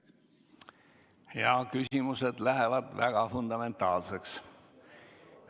Jaa, küsimused lähevad väga fundamentaalseks.